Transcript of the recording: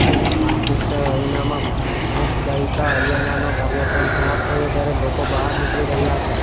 Manchester અરીનામાં pop ગાયિકા આરિયાનાનો કાર્યક્રમ સમાપ્ત થયો ત્યારે લોકો બહાર નીકળી રહ્યાં હતા